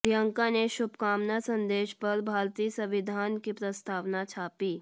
प्रियंका के शुभकामना संदेश पर भारतीय संविधान की प्रस्तावना छापी